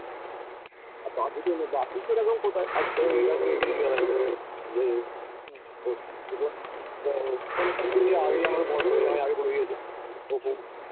সেরকম কোথায় আজকে জিজ্ঞাসা করেছে যে আগেই আমাকে আমাকে আগে বলে দিয়েছে